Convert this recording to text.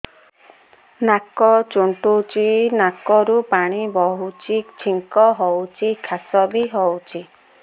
ନାକ ଚୁଣ୍ଟୁଚି ନାକରୁ ପାଣି ବହୁଛି ଛିଙ୍କ ହଉଚି ଖାସ ବି ହଉଚି